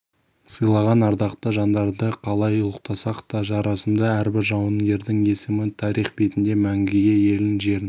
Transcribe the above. сыйлаған ардақты жандарды қалай ұлықтасақ та жарасымды әрбір жауынгердің есімі тарих бетінде мәңгіге елін жерін